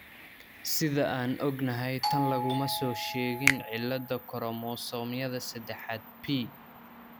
Sida aan ognahay, tan laguma soo sheegin cilada koromosoomyada sedexaad p.